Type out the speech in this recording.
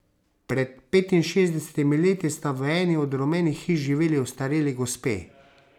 Pred petinšestdesetimi leti sta v eni od rumenih hiš živeli ostareli gospe.